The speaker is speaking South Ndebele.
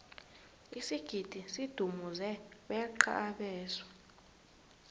isigidi sidumuze beqa abeswa